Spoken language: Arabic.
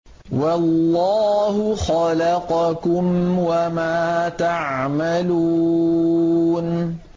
وَاللَّهُ خَلَقَكُمْ وَمَا تَعْمَلُونَ